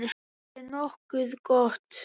Þetta er nokkuð gott.